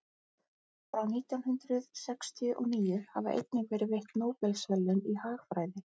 frá nítján hundrað sextíu og níu hafa einnig verið veitt nóbelsverðlaun í hagfræði